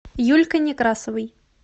юлькой некрасовой